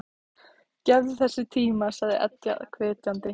Gefðu þessu tíma, sagði Edda hvetjandi.